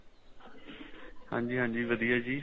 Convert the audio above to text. ਹਾਂਜੀ ਹਾਂਜੀ ਵਧੀਆ ਜ਼ੀ